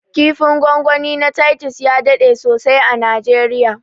kifin gwangwani na titus ya daɗe sosai a najeriya